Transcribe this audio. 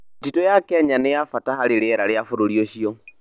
Mĩtitũ ya Kenya nĩ ya bata harĩ rĩera rĩa bũrũri ũcio.